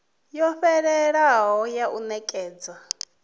yo fhelelaho ya u nekedza